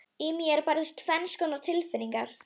Í mér bærðust tvenns konar tilfinningar.